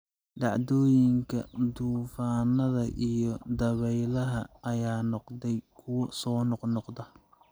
Dhacdooyinka duufaannada iyo dabaylaha ayaa noqday kuwo soo noqnoqda.